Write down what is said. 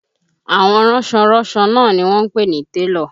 Àwọn ránsọ ránsọ náà ni wọ́n ń pè ní télọ̀